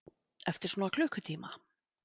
Eftir svona klukkutíma.